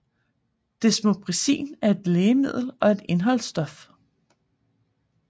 Desmopressin er et lægemiddel og et indholdsstof